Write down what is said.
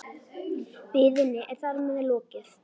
Biðinni er þar með lokið.